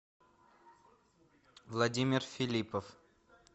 владимир филипов